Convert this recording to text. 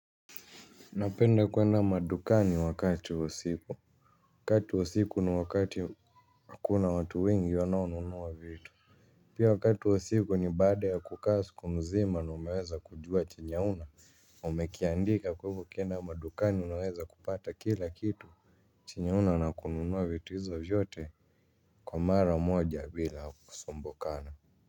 Napenda kwenda madukani wakati wa siku. Wakati wa siku ni wakati hakuna watu wengi wanaununua vitu. Pia wakati wa siku ni baada ya kukaa sku mzima na umeweza kujua chenye ahuna. Umekiandika kwa ivo ukenda madukani unaweza kupata kila kitu. Chenye huna na kununua vitu hizo vyote kwa mara moja bila kusumbukana.